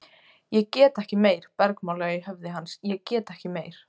Ég get ekki meir, bergmálaði í höfði hans, ég get ekki meir.